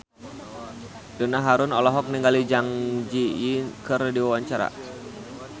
Donna Harun olohok ningali Zang Zi Yi keur diwawancara